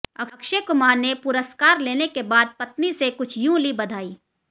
अक्षय कुमार ने पुरस्कार लेने के बाद पत्नी से कुछ यूं ली बधाई